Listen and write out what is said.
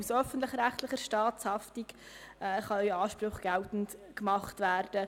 Aus öffentlich-rechtlicher Staatshaftung können Ansprüche geltend gemacht werden.